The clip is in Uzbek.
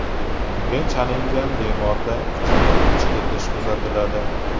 Unga chalingan bemorda kuchli ich ketishi kuzatiladi.